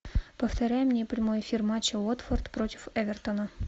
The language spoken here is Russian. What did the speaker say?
повторяй мне прямой эфир матча уотфорд против эвертона